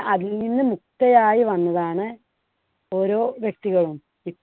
അതിൽ നിന്ന് മുക്തയായി വന്നതാണ് ഓരോ വ്യക്തികളും